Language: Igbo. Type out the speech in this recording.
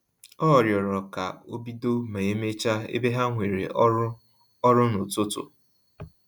Ọ rịọrọ ka obido ma emecha ebe ha nwere ọrụ ọrụ na-ụtụtụ